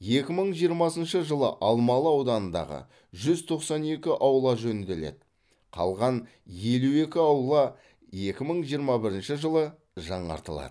екі мың жиырмасыншы жылы алмалы ауданындағы жүз тоқсан екі аула жөнделеді қалған елу екі аула екі мың жиырма бірінші жылы жаңартылады